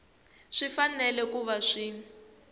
swi fanele ku va swi